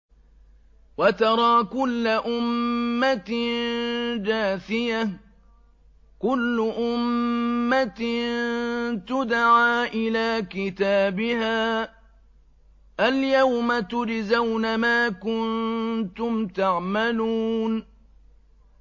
وَتَرَىٰ كُلَّ أُمَّةٍ جَاثِيَةً ۚ كُلُّ أُمَّةٍ تُدْعَىٰ إِلَىٰ كِتَابِهَا الْيَوْمَ تُجْزَوْنَ مَا كُنتُمْ تَعْمَلُونَ